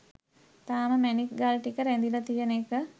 තාම මැණික් ගල් ටික රැඳිල තියෙන එක